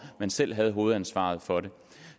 man selv havde hovedansvaret for det